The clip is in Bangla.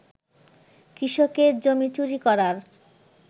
কৃষকের জমি চুরি করার